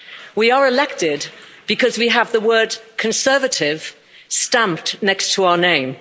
We are elected because we have the word Conservative' stamped next to our name.